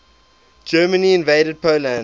germany invaded poland